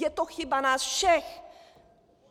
Je to chyba nás všech.